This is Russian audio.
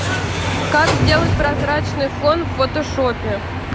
как сделать прозрачный фон в фотошопе